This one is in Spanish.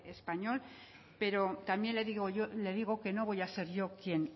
española pero también le digo que no voy a ser yo quien